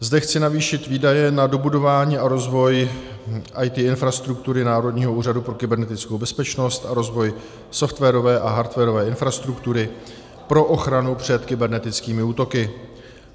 Zde chci navýšit výdaje na dobudování a rozvoj IT infrastruktury Národního úřadu pro kybernetickou bezpečnost a rozvoj softwarové a hardwarové infrastruktury pro ochranu před kybernetickými útoky.